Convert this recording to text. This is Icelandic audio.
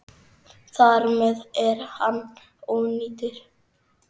Þar með er hann ónýtur.